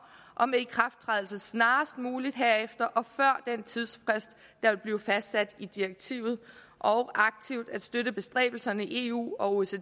og med ikrafttrædelse snarest muligt herefter og før den tidsfrist der vil blive fastsat i direktivet og aktivt at støtte bestræbelserne i eu og